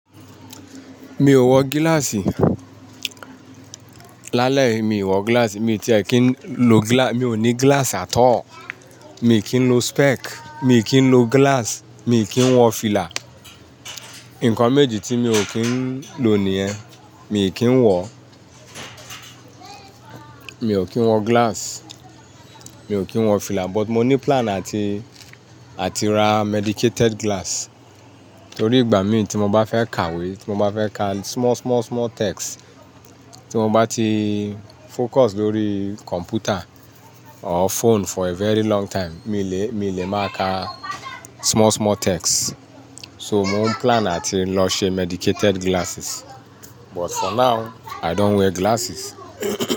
Mi ò wọ glass. Lálẹ́yì mi ì wọ glass. Mi ti ẹ̀ kí ń lò gla-- mi ò ní glass at all. Mi kì í lò spec, mi kì í lò glass, mi kì í wọ fìlà. Nǹkan méjì tí mi ò kí ń lò nìyẹn, mi kì í wọ̀. Mi ò kí ń wọ glass, mi ò kí ń wọ fìlà, but mo ní plan àti, àti rà medicated glass. Nítorí ìgbà mìí tí mo bá fẹ́ kàwé, tí mo bá fẹ́ kà small, small, small text, tí mo bá ti focus lórí computer or phone for a very long time, mi lè, mi lè máa kà small, small text. So mò ń plan àti lọ ṣe medicated glasses. But for now i don't wear glasses.